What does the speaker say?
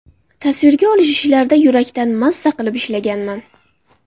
Tasvirga olish ishlarida yurakdan, maza qilib ishlaganman.